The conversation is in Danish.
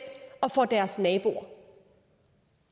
og for deres naboer